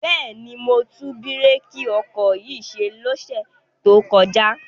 Bẹ́ẹ̀ni, mo tún bírèkì ọkọ̀ yìí ṣe lọ́sẹ̀ tó kọjá.